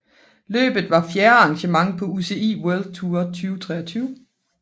Løbet var fjerde arrangement på UCI World Tour 2023